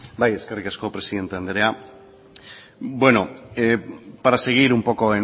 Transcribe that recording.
bai eskerrik asko presidente andrea bueno para seguir un poco